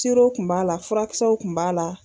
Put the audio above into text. Sirow kun b'a la furakisɛw kun b'a la